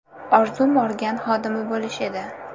Orzum organ xodimi bo‘lish edi.